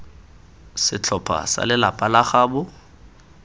setlhopha sa lelapa la gaabo